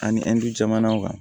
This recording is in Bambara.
Ani ɛndu jamanaw kan